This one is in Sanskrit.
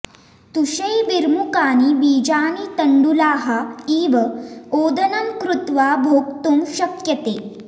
तुषैर्विमुकानि बीजानि तण्डुलाः इव ओदनं कृत्वा भोक्तुं शक्यते